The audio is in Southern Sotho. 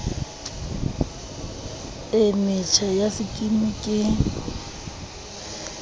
e metjha ya sekimi ke